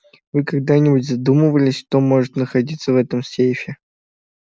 вы когда-нибудь задумывались что может находиться в этом сейфе